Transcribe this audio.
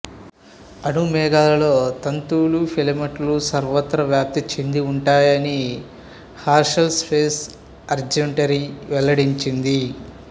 అణు మేఘాల్లో తంతువులు ఫిలమెంట్లు సర్వత్రా వ్యాప్తి చెంది ఉంటాయని హెర్షెల్ స్పేస్ అబ్జర్వేటరీ వెల్లడించింది